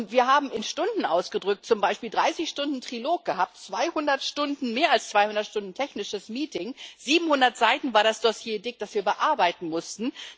Wir haben in Stunden ausgedrückt zum Beispiel 30 Stunden Trilog gehabt, mehr als 200 Stunden technisches Meeting, 700 Seiten war das Dossier dick, das wir bearbeiten mussten.